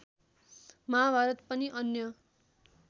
महाभारत अनि अन्य